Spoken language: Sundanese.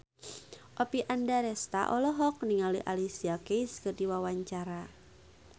Oppie Andaresta olohok ningali Alicia Keys keur diwawancara